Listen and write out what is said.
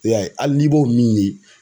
I y'a ye hali n'i b'o min ye